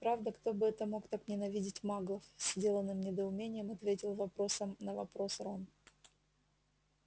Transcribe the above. правда кто бы это мог так ненавидеть маглов с деланным недоумением ответил вопросом на вопрос рон